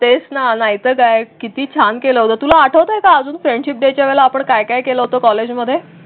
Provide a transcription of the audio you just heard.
तेच ना नाहीतर काय किती छान केला होता तुला आठवतं का अजून? फ्रेंडशिप डेच्या आपण काय काय केलं कॉलेजमध्ये?